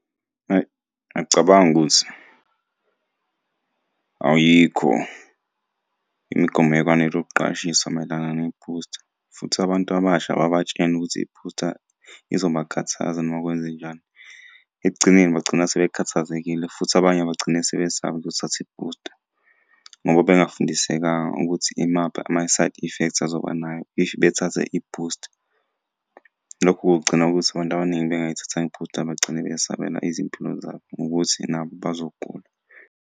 Ayi ngiyacabanga ukuthi ayikho imigomo ekwanele ukuqwashisa mayelana ne-booster, futhi abantu abasha babatshene ukuthi i-booster izobakhathaza uma kwenzenjani. Ekugcineni bagcina sebekhathazekile, futhi abanye bagcine sebesaba ukuyothatha i-booster ngoba bengafundisekanga ukuthi imaphi ama-side effects azoba nayo if bethathe i-booster. Lokhu kugcina ukuthi abantu abaningi bengayithathanga i-booster bagcine besabela izimpilo zabo ngokuthi nabo bazogula.